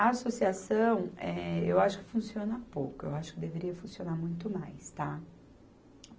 A associação, eh, eu acho que funciona pouco, eu acho que deveria funcionar muito mais, tá?